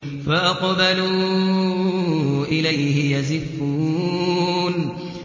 فَأَقْبَلُوا إِلَيْهِ يَزِفُّونَ